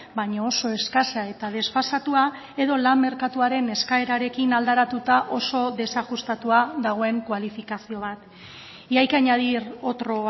baina oso eskasa eta desfasatua edo lan merkatuaren eskaerarekin aldaratuta oso desajustatua dagoen kualifikazio bat y hay que añadir otro